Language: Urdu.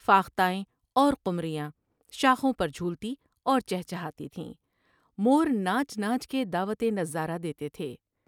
فاختائیں اور قمریاں شاخوں پر جھولتی اور پہچہاتی تھیں ، مور ناچ ناچ کے دعوت نظارہ دیتے تھے ۔